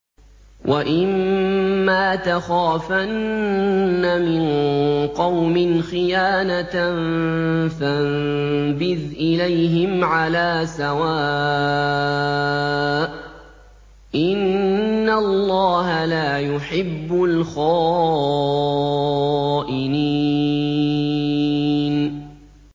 وَإِمَّا تَخَافَنَّ مِن قَوْمٍ خِيَانَةً فَانبِذْ إِلَيْهِمْ عَلَىٰ سَوَاءٍ ۚ إِنَّ اللَّهَ لَا يُحِبُّ الْخَائِنِينَ